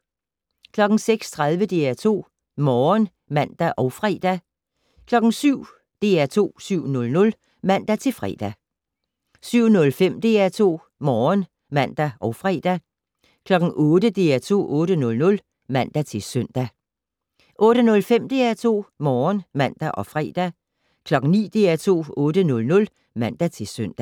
06:30: DR2 Morgen (man og fre) 07:00: DR2 7:00 (man-fre) 07:05: DR2 Morgen (man og fre) 08:00: DR2 8:00 (man-søn) 08:05: DR2 Morgen (man og fre) 09:00: DR2 9:00 (man-søn)